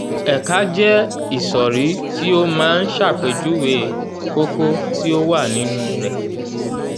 ẹ̀ka jẹ́ ìsòrí tí ó máa ń ṣàpèjúwe kókó tí ó wà nínú rẹ̀.